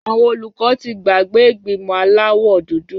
Àwọn olùkọ́ ti gbàgbé ìgbìmọ̀ aláwọ̀ dúdú.